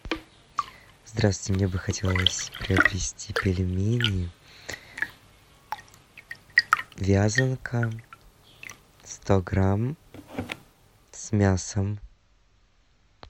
здравствуйте мне бы хотелось приобрести пельмени вязанка сто грамм с мясом